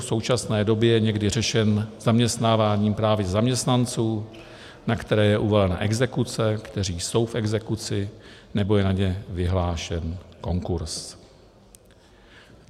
v současné době je někdy řešen zaměstnáváním právě zaměstnanců, na které je uvalena exekuce, kteří jsou v exekuci, nebo je na ně vyhlášen konkurz.